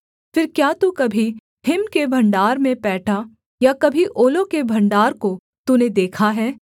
फिर क्या तू कभी हिम के भण्डार में पैठा या कभी ओलों के भण्डार को तूने देखा है